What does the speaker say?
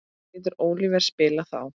Getur Oliver spilað þá?